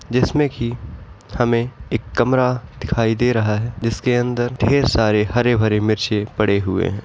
जिसमें कि हमें एक कमरा दिखाई दे रहा है जिसके अंदर ढेर सारे हरे-भरे मिरचे पड़े हुए हैं।